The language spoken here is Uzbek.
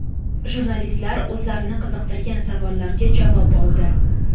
Jurnalistlar o‘zlarini qiziqtirgan savollarga javob oldi.